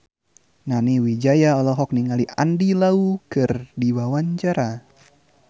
Nani Wijaya olohok ningali Andy Lau keur diwawancara